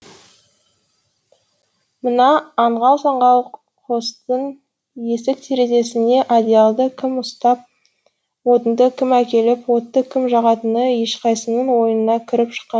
мына аңғал саңғал қостың есік терезесіне одеялды кім ұстап отынды кім әкеліп отты кім жағатыны ешқайсының ойына кіріп шыққан жоқ